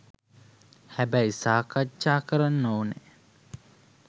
හැබැයි සාකච්ඡා කරන්න ඕනැ